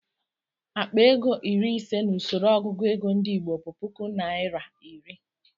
Akpa ego iri ise n'usoro ọgụgụ ego ndị Igbo bụ puku naira iri.